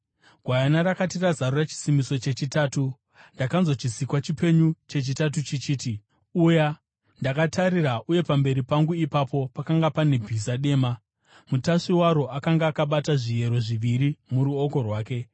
Gwayana rakati razarura chisimbiso chechitatu, ndakanzwa chisikwa chipenyu chechitatu chichiti, “Uya!” Ndakatarira, uye pamberi pangu ipapo pakanga pane bhiza dema! Mutasvi waro akanga akabata zviyero zviviri muruoko rwake.